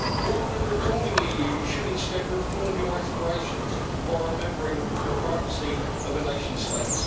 Rather than reforming the EU, you should instead reform your aspirations by remembering the primacy of a nation state.